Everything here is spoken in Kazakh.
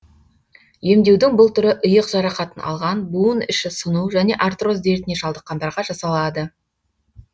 емдеудің бұл түрі иық жарақатын алған буын іші сыну және артроз дертіне шалдыққандарға жасалады